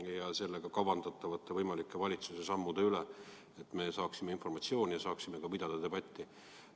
Me ootame informatsiooni kavandatavate valitsuse sammude kohta, et me saaksime ka pidada debatti.